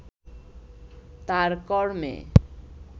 তার কর্মে